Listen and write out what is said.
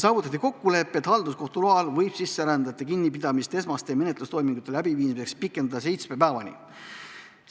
Saavutati kokkulepe, et halduskohtu loal võib sisserändajate kinnipidamist esmaste menetlustoimingute läbiviimiseks pikendada seitsme päevani.